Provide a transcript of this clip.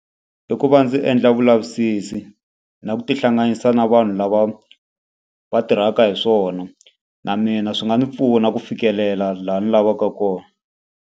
I ku va ndzi endla vulavisisi na ku tihlanganisa na vanhu lava va tirhaka hi swona. Na mina swi nga ndzi pfuna ku fikelela laha ni lavaka kona.